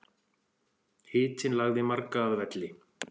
Hitinn lagði marga að velli